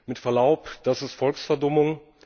Mit Verlaub, das ist Volksverdummung.